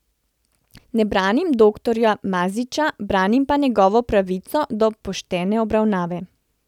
Ne branim doktorja Maziča, branim pa njegovo pravico do poštene obravnave.